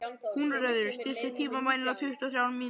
Húnröður, stilltu tímamælinn á tuttugu og þrjár mínútur.